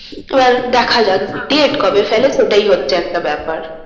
এবার তো দেখা যাক date কবে ফেলে ওটাই হচ্ছে একটা ব্যাপার।